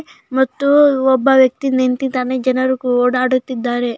ಮತ್ತು ಒಬ್ಬ ವ್ಯಕ್ತಿ ನಿಂತಿದ್ದಾನೆ ಜನರಕು ಓಡಾಡುತ್ತಿದ್ದಾರೆ.